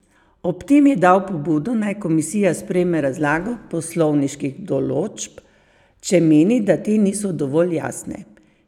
Ob tem je dal pobudo, naj komisija sprejme razlago poslovniških določb, če meni, da te niso dovolj jasne.